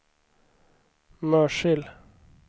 Mörsil